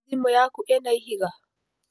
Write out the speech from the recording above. Thimũ yaku ĩna ihiga?